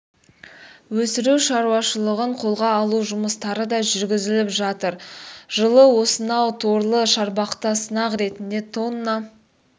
өсіру шаруашылығын қолға алу жұмыстары да жүргізіліп жатыр жылы осынау торлы шарбақта сынақ ретінде тонна